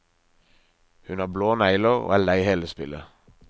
Hun har blå negler og er lei hele spillet.